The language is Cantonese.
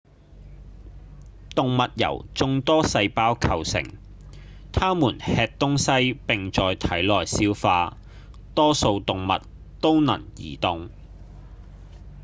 動物由眾多細胞構成牠們吃東西並在體內消化多數動物都能移動